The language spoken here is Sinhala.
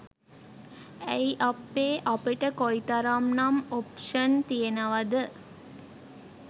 ඇයි අප්පේ අපිට කොයිතරම් නම් ඔප්ෂන් තියෙනවද